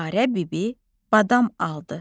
Dilarə bibi badam aldı.